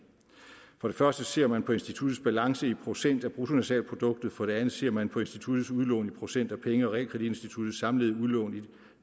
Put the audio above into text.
for det første ser man på instituttets balance i procent af bruttonationalproduktet for det andet ser man på instituttets udlån i procent af penge og realkreditinstitutternes samlede udlån i